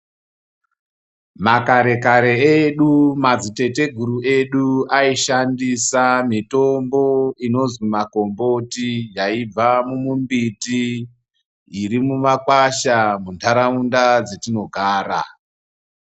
Makare kare edu madziteteguru edu aishandisa mitombo inoozi magomboti yaibva mumimbiti, yaibva kumakwasha muntaraunda dzatinogara .